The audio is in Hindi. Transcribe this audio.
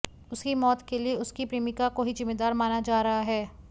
उसकी मौत के लिए उसकी प्रेमिका को ही जिम्मेदार माना जा रहा है